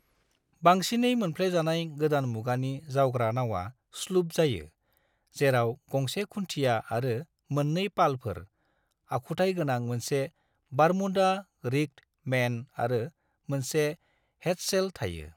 बांसिनै मोनफ्लेजानाय गोदान मुगानि जावग्रा नावा स्लूप जायो, जेराव गंसे खुन्थिया आरो मोननै पालफोर, आखुथाय गोनां मोनसे बारमूडा रिग्ड मेन आरो मोनसे हेडसेल थायो।